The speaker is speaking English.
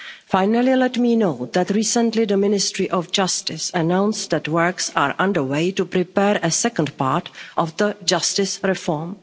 Finally, let me note that recently the Ministry of Justice announced that works are under way to prepare a second part of the justice reform.